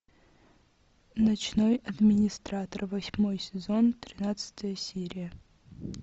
ночной администратор восьмой сезон тринадцатая серия